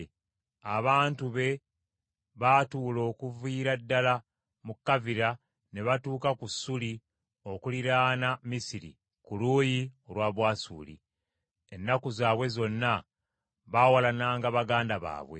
Abantu be baatuula okuviira ddala mu Kavira ne batuuka ku Ssuuli okuliraana Misiri ku luuyi olwa Bwasuli. Ennaku zaabwe zonna baawalananga baganda baabwe.